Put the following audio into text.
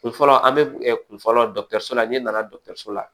Kun fɔlɔ an be kun fɔlɔ dɔkutɛruso la ne nana dɔgɔtɔrɔso la